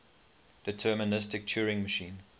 deterministic turing machine